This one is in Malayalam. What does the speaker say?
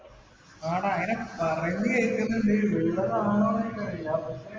ആ ടാ അങ്ങിനെ പറയുന്നത് കേൾക്കുന്നുണ്ട്. ഉള്ളതാണോ എന്ന് എനിക്ക് അറിയില്ല പക്ഷെ